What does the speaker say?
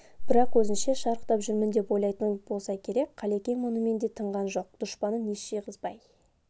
бірақ өзінше шарықтап жүрмін деп ойлайтын болса керек қалекең мұнымен де тынған жоқ дұшпанын ес жиғызбай